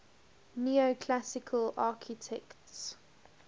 neoclassical architects